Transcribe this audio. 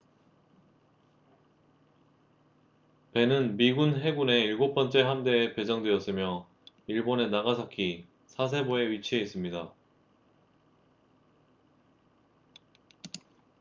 배는 미국 해군의 일곱 번째 함대에 배정되었으며 일본의 나가사키 사세보에 위치해 있습니다